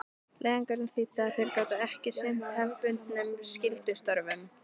Leiðangurinn þýddi að þeir gátu ekki sinnt hefðbundnum skyldustörfum.